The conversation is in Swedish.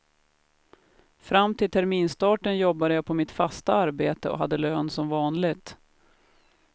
Fram till terminsstarten jobbade jag på mitt fasta arbete och hade lön som vanligt.